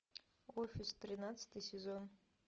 офис тринадцатый сезон